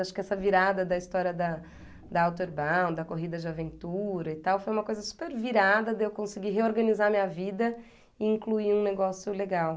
Acho que essa virada da história da da Outerbound, da corrida de aventura e tal, foi uma coisa super virada de eu conseguir reorganizar a minha vida e incluir um negócio legal.